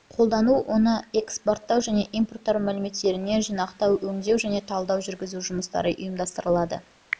қолдану оны экспорттау және импорттау мәліметтеріне жинақтау өңдеу және талдау жүргізу жұмыстары ұйымдастырылды